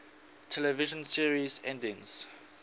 television series endings